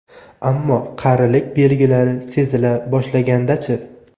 Ammo qarilik belgilari sezila boshlaganda-chi?